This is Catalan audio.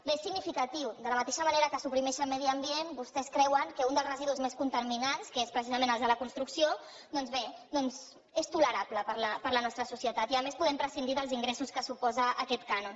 bé és significatiu de la mateixa manera que suprimeixen medi ambient vostès creuen que un dels residus més contaminants que és precisament el de la construcció doncs bé és tolerable per la nostra societat i a més podem prescindir dels ingressos que suposa aquest cànon